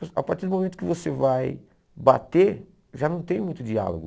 A partir do momento que você vai bater, já não tem muito diálogo.